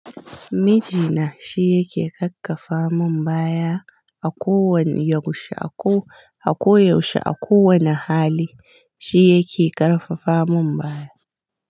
Miji na shi yake kakkafa mun baya a ko wane yaushe a ko. A ko yaushe a kowane hali shi yake karfafa mun baya.